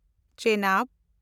Chenab